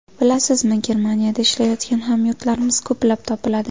Bilasizmi, Germaniyada ishlayotgan hamyurtlarimiz ko‘plab topiladi.